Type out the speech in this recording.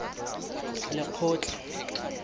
lekgotla